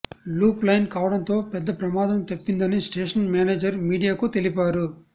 loop line కావడంతో పెద్ద ప్రమాదం తప్పిందని స్టేషన్ మేనేజర్ మీడియా కు తెలిపారు